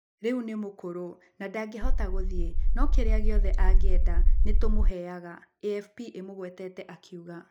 "Rĩu nĩ mũkũrũ, na ndangĩhota gũthiĩ. No kĩrĩa gĩothe angĩenda nĩ tũmũheaga", AFP ĩmũgwetete akiuga.